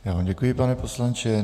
Já vám děkuji, pane poslanče.